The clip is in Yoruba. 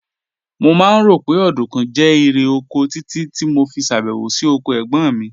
Mo máa ń rò pé ọ̀dùnkún jẹ́ irè oko títí tí mo fi ṣèbẹ̀wò sí oko ẹ̀gbọ́n mi